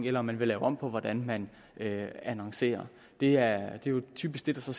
eller om man vil lave om på hvordan man annoncerer det er jo typisk det